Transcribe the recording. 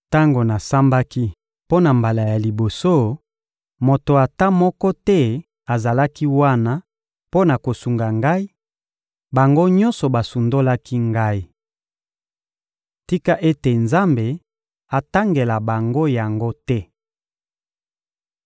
Tango nasambaki mpo na mbala ya liboso, moto ata moko te azalaki wana mpo na kosunga ngai; bango nyonso basundolaki ngai. Tika ete Nzambe atangela bango yango te!